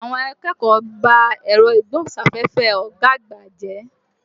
Àwọn akẹ́kọ̀ọ́ ba ẹ̀rọ agbóhùn sáféfé ọ̀gá àgbà jẹ́.